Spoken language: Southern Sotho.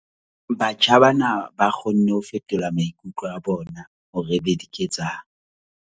Batjha bana ba kgonne ho fetola maikutlo a bona hore e be diketsahalo.